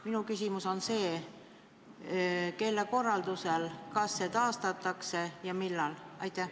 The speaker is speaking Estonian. Kelle korraldusel seda tehti, kas see pannakse tagasi ja kui, siis millal?